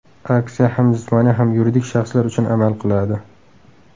Aksiya ham jismoniy, ham yuridik shaxslar uchun amal qiladi.